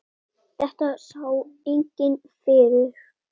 Þetta sá enginn fyrir.